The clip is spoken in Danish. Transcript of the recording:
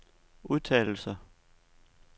udtalelser